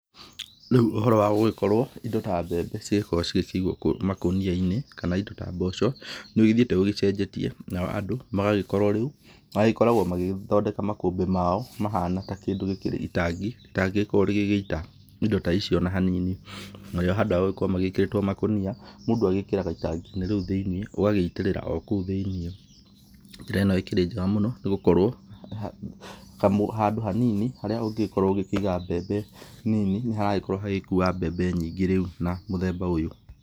Rĩu ũhoro wa gũgĩkorwo indo ta mbembe cigĩkorwo cigĩkĩigwo makũnia-inĩ kana indo ta mboco, nĩ ũgĩthiĩte ũgĩcenjetie nao andũ magagĩkorwo rĩu, makoragwo magĩthondeka makũmbĩ mao mahana ta kĩndũ gĩkĩrĩ itangi, rĩtangĩgĩkorwo rĩgĩgĩita indo ta icio o na hanini. Narĩo handũ wa gũkorwo magĩkĩrĩtwo makũnia, mũndũ agĩkĩraga itangi-inĩ rĩu thĩiniĩ ũgagĩitĩrĩra o kou thĩiniĩ. Njĩra ĩno ĩkĩrĩ njega mũno nĩ gũkorwo handũ hanini harĩa ũngĩgĩkorwo ũgĩkĩiga mbembe nini nĩ haragĩkorwo hagĩkua mbembe nyingĩ rĩu na mũthemba ũyũ.